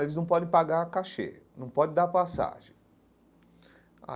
Eles não podem pagar cachê, não podem dar passagem.